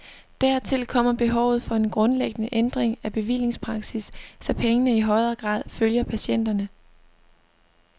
Dertil kommer behovet for en grundlæggende ændring af bevillingspraksis, så pengene i højere grad følger patienterne.